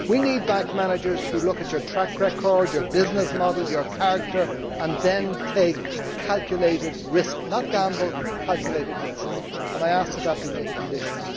We need bank managers who look at your track record, your business model, your character and then take a calculated risk, not a gamble but a calculated risk, and I ask that that be made a condition.